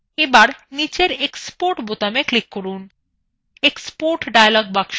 এখন নীচের export বোতামে click করুন